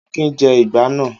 Akin jẹ ìgbá náà!